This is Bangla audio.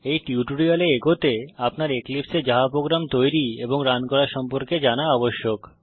এই টিউটোরিয়ালে এগোতে আপনার এক্লিপসে এ জাভা প্রোগ্রাম তৈরী এবং রান করা সম্পর্কে জানা আবশ্যক